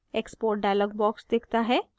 export dialog box दिखता है